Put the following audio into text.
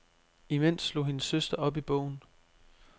Imens slog hendes søster op i bogen.